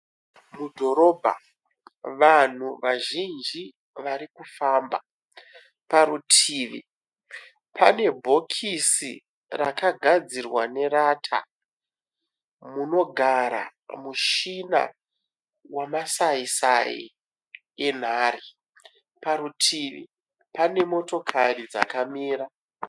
Mudhorobha vanhu vazhinji vari kufamba. Parutivi pane bhokisi rakagadzirwa nerata munogara mushina wamasaisai enhare. Parutivi pane motokari dzakamira.